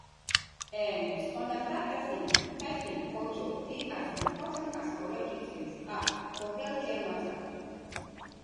um to understand person person culture dey as important as correct treatment ah for healthcare matter.